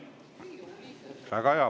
Väga hea!